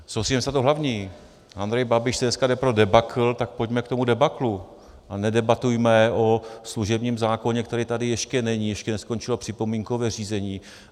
Soustřeďme se na to hlavní - Andrej Babiš si dneska jde pro debakl, tak pojďme k tomu debaklu a nedebatujme o služebním zákoně, který tady ještě není, ještě neskončilo připomínkové řízení.